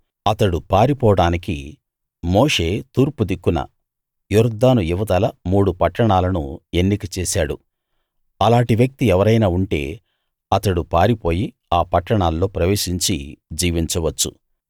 అతడు పారిపోడానికి మోషే తూర్పు దిక్కున యొర్దాను ఇవతల మూడు పట్టణాలను ఎన్నిక చేశాడు అలాటి వ్యక్తి ఎవరైనా ఉంటే అతడు పారిపోయి ఆ పట్టణాల్లో ప్రవేశించి జీవించవచ్చు